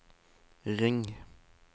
ring